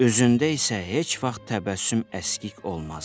Üzündə isə heç vaxt təbəssüm əskik olmazdı.